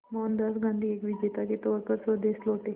मोहनदास गांधी एक विजेता के तौर पर स्वदेश लौटे